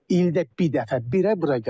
İldə bir dəfə bir həbi bura gəlib.